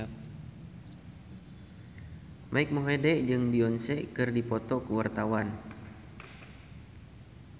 Mike Mohede jeung Beyonce keur dipoto ku wartawan